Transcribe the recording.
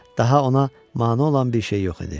Daha ona mane olan bir şey yox idi.